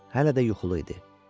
Hələ də yuxulu idi.